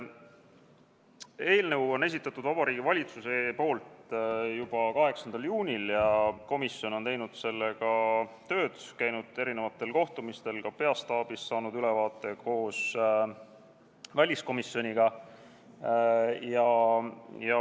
Eelnõu esitas Vabariigi Valitsus juba 8. juunil ja komisjon on teinud sellega tööd, käinud erinevatel kohtumistel ja saanud ka peastaabis koos väliskomisjoniga ülevaate.